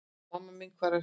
Mamma mín hvar ertu?